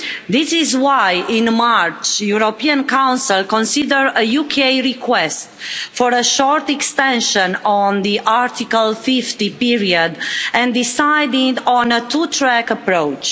This is why in March the European Council considered a UK request for a short extension on the Article 50 period and decided on a two track approach.